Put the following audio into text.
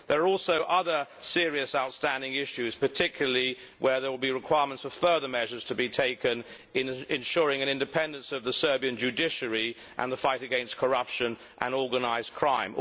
There are also other serious outstanding issues, particularly where there will be requirements for further measures to be taken in ensuring the independence of the Serbian judiciary and the fight against corruption and organised crime.